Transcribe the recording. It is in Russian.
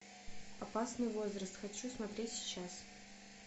опасный возраст хочу смотреть сейчас